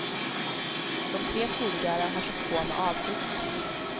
De tre tidigare har körts på med avsikt.